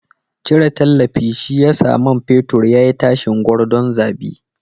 Cire tallafi shi ya sa man fetur ya yi tashin gordon zabi.